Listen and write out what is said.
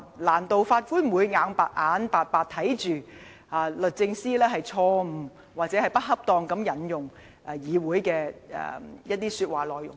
難道法官會眼巴巴看着律政司錯誤或不恰當地引用議會的說話內容嗎？